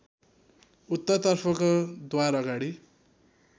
उत्तरतर्फको द्वारअगाडि